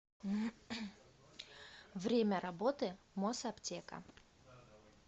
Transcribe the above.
время работы мосаптека